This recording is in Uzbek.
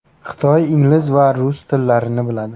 Xitoy, ingliz va rus tillarini biladi.